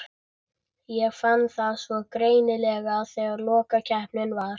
Ég fann það svo greinilega þegar lokakeppnin var.